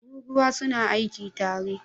Tururuwa su na aiki tare